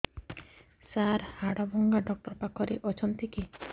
ସାର ହାଡଭଙ୍ଗା ଡକ୍ଟର ପାଖରେ ଅଛନ୍ତି କି